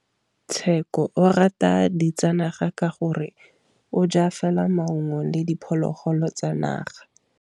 Tshekô o rata ditsanaga ka gore o ja fela maungo le diphologolo tsa naga.